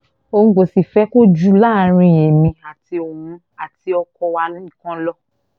òun kò sì fẹ́ kó jù láàrin èmi àti òun àti ọkọ wa nìkan lọ